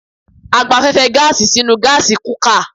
A gba afẹ́fẹ́ gáàsì sí inú gásí kukà